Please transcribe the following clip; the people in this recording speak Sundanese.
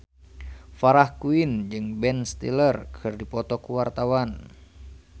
Farah Quinn jeung Ben Stiller keur dipoto ku wartawan